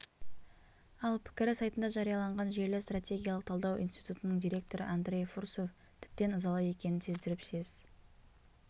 ал пікірі сайтында жарияланған жүйелі стратегиялық талдау институтының директоры андрей фурсов тіптен ызалы екенін сездіріп сес